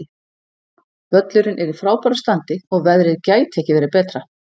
Völlurinn er í frábæru standi og veðrið gæti ekki verið betra.